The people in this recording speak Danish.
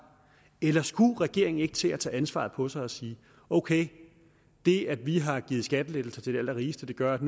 eller skulle regeringen ikke til at tage ansvaret på sig og sige ok det at vi har givet skattelettelser til de allerrigeste gør at